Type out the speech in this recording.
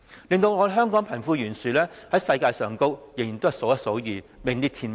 因此，香港的貧富懸殊在世界上，仍然數一數二，名列前茅。